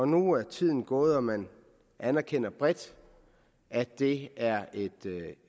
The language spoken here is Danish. nu er tiden gået og man anerkender bredt at det er